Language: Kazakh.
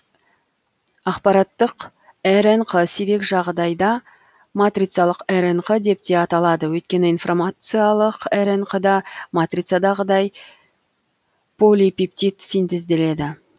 ақпараттық рнқ сирек жағдайда матрицалық рнқ деп те аталады өйткені инфромациялық рнқ да матрицадағыдай полипептид синтезделеді